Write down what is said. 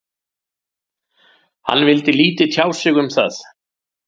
Hann vildi lítið tjá sig um það.